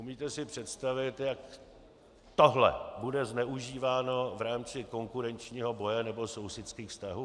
Umíte si představit, jak tohle bude zneužíváno v rámci konkurenčního boje nebo sousedských vztahů?